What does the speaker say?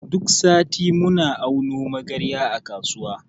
Duk sati muna auno magarya a kasuwa.